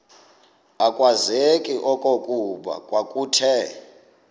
akwazeki okokuba kwakuthe